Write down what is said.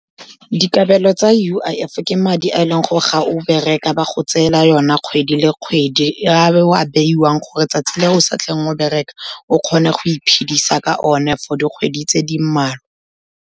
Dikabelo tsa U_I_F ke madi a e leng gore ga o bereka ba go tseela ona kgwedi le kgwedi, a o a beiwang gore 'tsatsi le o sa tleng go bereka, o kgone go iphidisa ka one for dikgwedi tse di mmalwa.